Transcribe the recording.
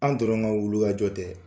An dɔrɔn ma wuluka jɔ tɛ